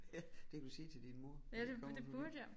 Ja det kan du sige til din mor når I kommer